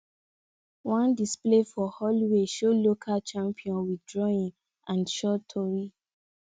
one display for hallway show local champion with drawing and short tori